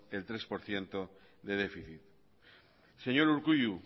el tres por ciento de déficit señor urkullu